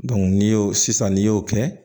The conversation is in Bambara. n'i y'o sisan n'i y'o kɛ